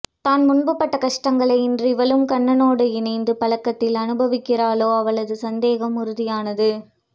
தான் முன்பு பட்ட கஷ்டங்களை இன்று இவளும் கண்ணனோடு இணைந்த பழக்கத்தில் அநுபவிக்கிறாளோ அவளது சந்தேகம் உறுதியானது